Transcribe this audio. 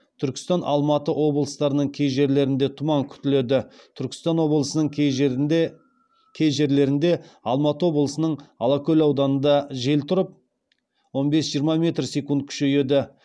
түркістан алматы облыстарының кей жерлерінде тұман күтіледі түркістан облысының кей жерлерінде алматы облысының алакөл ауданында жел тұрып он бес жиырма метр секунд күшейеді